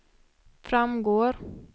framgår